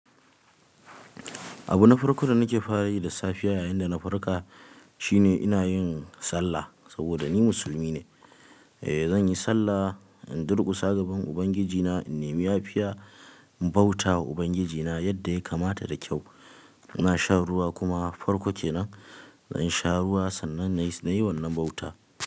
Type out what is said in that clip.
Abu na farko da nake fara yi da safiya yayinda na farka shine ina yin sallah saboda ni musulmi ne. Eh, zan yi sallah, in durƙusa gaban Ubangijina, in nemi yafiya, in bauta wa Ubangijina yadda ya kamata da kyau. Na sha ruwa kuma farko kenan, zan sha ruwa sannan na yi wannan bauta.